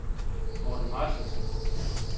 Morten Martinsen